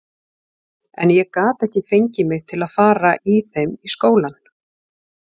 En ég gat ekki fengið mig til að fara í þeim í skólann.